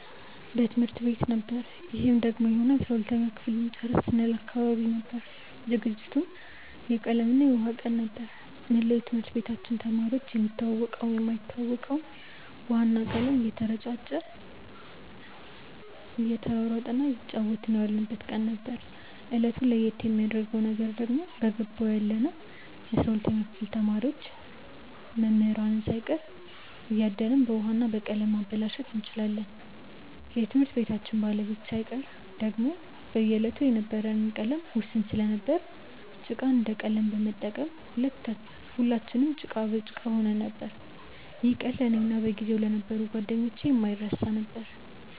በትምህርት ቤት ነበር ይህም ደግሞ የሆነው የ12ተኛ ክፍል ልንጨርስ ስንል አካባቢ ነበር። ዝግጅቱም የቀለም እና የውሃ ቀን ነበር። መላው የትምህርት ቤታችን ተማሪዎች የሚተዋወቀውም የማይተዋወቀውም ውሃ እና ቀለም እየተረጫጨ እየተሯሯጠ እና እየተጫወትን የዋልንበት ቀን ነበር። እለቱን ለየት የሚያረገው ነገር ደግሞ በገባው ያለነው የ12ተኛ ክፍል ተማሪዎች መምህራንን ሳይቀር እያደንን በውሀ እና በቀለም ማበላሸት እንችላለን የትምህርት ቤታችንን ባለቤት ሳይቀር። ደግሞም በዕለቱ የነበረን ቀለም ውስን ስለነበር ጭቃን እንደ ቀለም በመጠቀም ሁለትንም ጭቃ በጭቃ ሆነን ነበር። ይህ ቀን ለእኔ እና በጊዜው ለነበሩ ጓደኞቼ የማይረሳ ነበር።